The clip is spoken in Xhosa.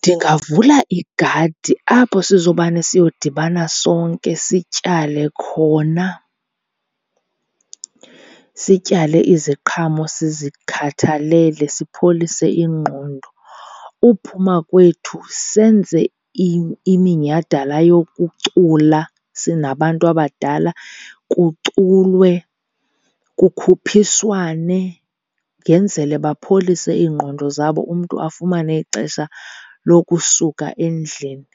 Ndingavula igadi apho sizomane siyodibana sonke sityale khona. Sityale iziqhamo, sizikhathalele, sipholise ingqondo. Uphuma kwethu senze iminyhadala yokucula sinabantu abadala. Kuculwe, kukhuphiswane yenzele bapholise iingqondo zabo, umntu afumane ixesha lokusuka endlini